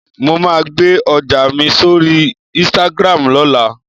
Mo máa gbe ọjà mi sórí "Instagram" lọ́la